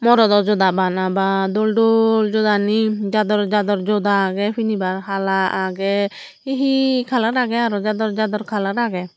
morodo joda bana bha dol dol jojani jador jador joda agey pinibar hala agey he he colour agey aro jador jador colour agey.